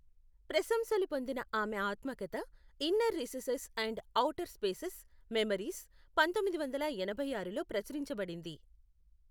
ప్రశంసలు పొందిన ఆమె ఆత్మకథ, Inner Recesses and Outer Spaces, Memories, పంతొమ్మిది వందల ఎనభై ఆరులో ప్రచురించబడింది.